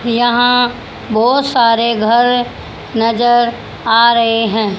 यहां बहोत सारे घर नजर आ रहे हैं।